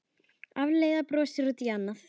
Alfreð brosir út í annað.